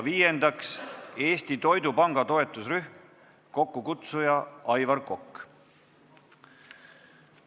Viiendaks, Eesti Toidupanga toetusrühm, kokkukutsuja on Aivar Kokk.